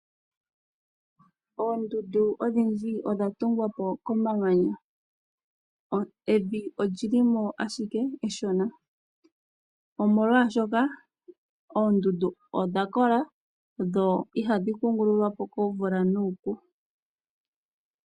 Oondundu odhindji odha tungwa po komamanya, evi oli li mo ashike eshona . Omolwashoka oondundu odha kola dho ihadhi kungululwa po komvula nuupu.